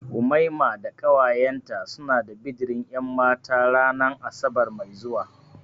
Umaima da ƙawayen ta suna da bidirin ƴanmata ranan asabar mai zuwa.